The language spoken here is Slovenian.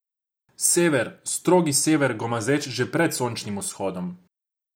Sever, strogi sever, gomazeč že pred sončnim vzhodom.